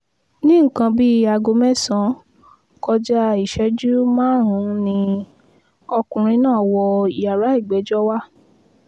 ní nǹkan bíi aago mẹ́sàn-án kọjá ìṣẹ́jú márùn-ún ni ọkùnrin náà wọ yàrá ìgbẹ́jọ́ wa